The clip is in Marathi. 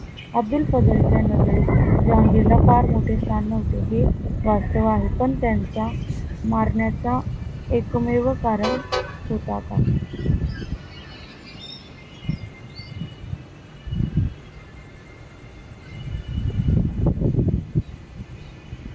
अब्दुल फजल च्या नजरेत जहांगीर ला फार मोठे स्थान नव्हते हे वास्तव आहे पण त्यांचा मारण्याचा एकमेव कारण होता का?